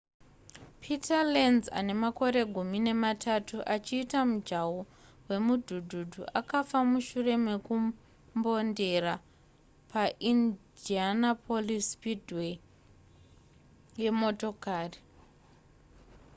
peter lenz ane makore gumi nematatu achiita mujaho hwemudhudhudhu afa mushure mekumbondera paindianapolis speedway yemotokari